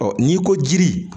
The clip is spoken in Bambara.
n'i ko jiri